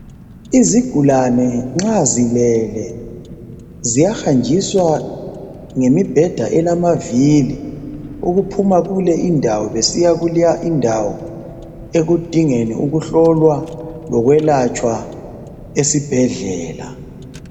Izigulane nxa zilele ziyahanjiswa ngemibheda elamavili ukuphuma kule indawo besiya kuleya indawo ekudingeni ukuhlolwa lokwelatshwa esibhedlela.